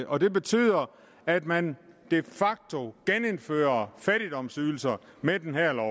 og det betyder at man de facto genindfører fattigdomsydelser med den her lov